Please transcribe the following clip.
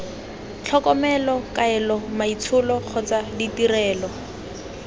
tlhokomelo kaelo maitsholo kgotsa ditirelo